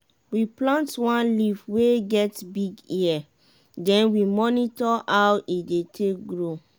we plant one leaf wey get big ear den we monitor how e take dey grow.